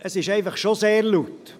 – Es ist im Saal wirklich sehr laut.